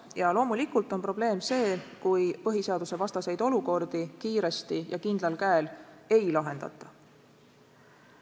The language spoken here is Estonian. Ja loomulikult on probleem see, kui põhiseadusvastaseid olukordi kiiresti ja kindlal käel ei lahendata.